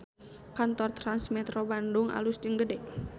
Kantor Trans Metro Bandung alus jeung gede